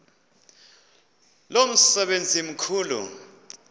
lo msebenzi mkhulu